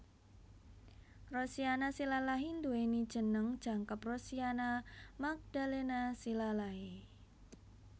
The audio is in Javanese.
Rosiana Silalahi nduwèni jeneng jangkep Rosiana Magdalena Silalahi